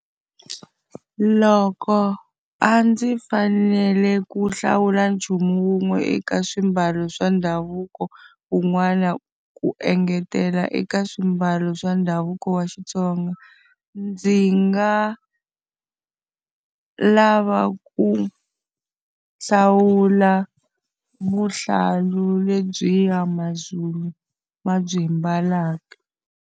Loko a ndzi fanele ku hlawula nchumu wun'we eka swiambalo swa ndhavuko wun'wana ku engetela eka swiambalo swa ndhavuko wa Xitsonga, ndzi nga lava ku hlawula vuhlalu lebyiya maZulu ma byi ambalaka